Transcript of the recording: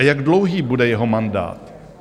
A jak dlouhý bude jeho mandát?